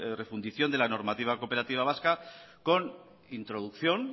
refundición de la normativa cooperativa vasca con introducción